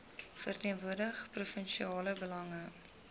verteenwoordig provinsiale belange